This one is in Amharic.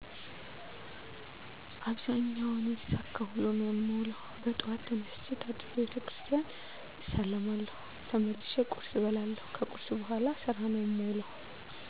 አብዛኛውን የተሳካ ውሎ ነው የምውለው። በጠዋት ተነስቸ ታጥቤ ቤተክርስቲያን እሳለማለሁ ተመልሸ ቆርስ እበላለሁ ከቁርስ በኋላ ስራ ነው የምውለሁ